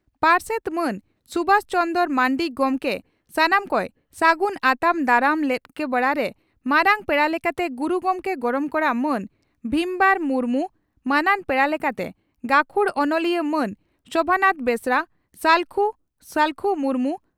ᱯᱟᱨᱥᱮᱛ ᱢᱟᱱ ᱥᱩᱵᱷᱟᱥ ᱪᱚᱱᱫᱽᱨᱚ ᱢᱟᱱᱰᱤ ᱜᱚᱢᱠᱮ ᱥᱟᱱᱟᱢ ᱠᱚᱭ ᱥᱟᱹᱜᱩᱱ ᱟᱛᱟᱝ ᱫᱟᱨᱟᱢ ᱞᱮᱫ ᱠᱚ ᱵᱮᱲᱟᱨᱮ ᱢᱟᱨᱟᱝ ᱯᱮᱲᱟ ᱞᱮᱠᱟᱛᱮ ᱜᱩᱨᱩ ᱜᱚᱢᱠᱮ ᱜᱚᱲᱚᱢ ᱠᱚᱲᱟ ᱢᱟᱱ ᱵᱷᱤᱢᱚᱣᱟᱨ ᱢᱩᱨᱢᱩ, ᱢᱟᱹᱱᱟᱱ ᱯᱮᱲᱟ ᱞᱮᱠᱟᱛᱮ ᱜᱟᱹᱠᱷᱩᱲ ᱚᱱᱚᱞᱤᱭᱟᱹ ᱢᱟᱱ ᱥᱚᱵᱷᱟᱱᱟᱛᱷ ᱵᱮᱥᱨᱟ, ᱥᱟᱞᱠᱷᱩ ᱥᱟᱞᱠᱷᱩ ᱢᱩᱨᱢᱩ